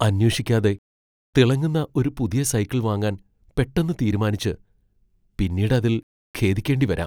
അന്വേഷിക്കാതെ തിളങ്ങുന്ന ഒരു പുതിയ സൈക്കിൾ വാങ്ങാൻ പെട്ടെന്ന് തീരുമാനിച്ച് പിന്നീട് അതിൽ ഖേദിക്കേണ്ടി വരാം.